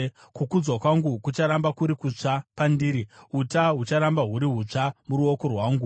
Kukudzwa kwangu kucharamba kuri kutsva pandiri, uta hucharamba huri hutsva muruoko rwangu.’